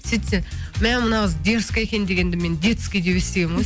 сөйтсе мә мынау қыз дерзкая екен дегенді мен детский деп естігенмін ғой